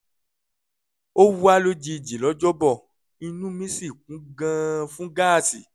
ó wá lójijì lọ́jọ́ bọ̀ inú mí sì kún gan-an fún gáàsì